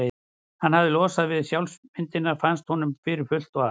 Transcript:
Hann hafði losnað við sjálfsímyndina, fannst honum, fyrir fullt og allt.